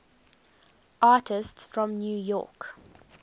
artists from new york